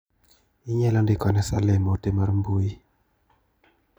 Inyalo ndiko ne Salim ote mar mbui?